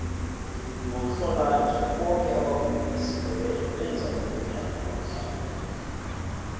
ngomhlolanja boke abavumi besindebele benza umnyanya kwamhlanga